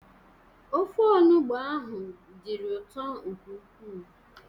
Ofe olugbo ahụ dịrị ụtọ nke ukwuu.